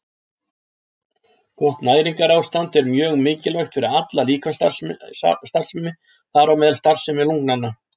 Gott næringarástand er mjög mikilvægt fyrir alla líkamsstarfsemi, þar á meðal starfsemi lungnanna.